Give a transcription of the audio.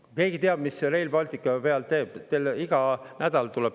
Kas keegi teab, kui palju Rail Balticu peale?